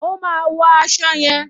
O máa wo aṣọ yẹn.